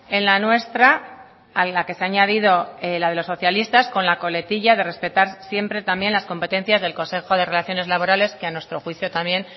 en la nuestra a la que se ha añadido la de los socialistas con la coletilla de respetar siempre también las competencias del consejo de relaciones laborales que a nuestro juicio también